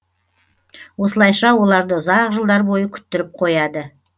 осылайша оларды ұзақ жылдар бойы күттіріп қояды